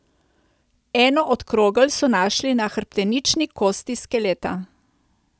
Eno od krogel so našli na hrbtenični kosti skeleta.